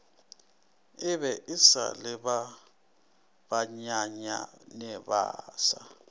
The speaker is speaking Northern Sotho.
ebe esa le ba banyenyanebasa